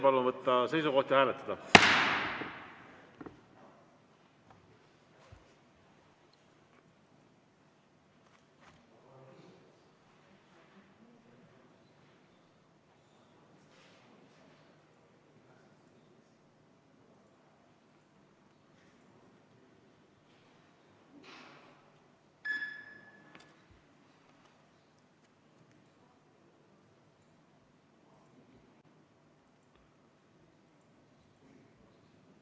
Palun võtta seisukoht ja hääletada!